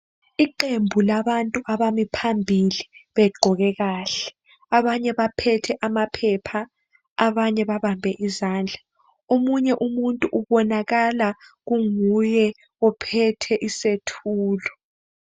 Iqembu labantu abami phambili begqoke kahle, abanye baphethe amaphepha abanye babambe izandla , omunye umuntu ubonakala kunguye ophethe isethulo.